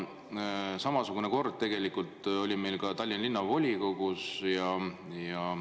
Samasugune kord oli meil ka Tallinna Linnavolikogus.